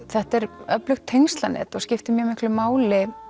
þetta er öflugt tengslanet og skiptir mjög miklu máli